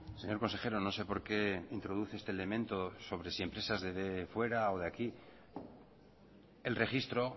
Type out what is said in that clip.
señor consejero no sé porqué introduce este elemento sobre si empresas de fuera o de aquí el registro